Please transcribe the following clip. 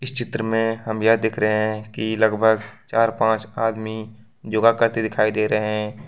इस चित्र में हम यह देख रहे हैं की लगभग चार पांच आदमी योग करते दिखाई दे रहे हैं।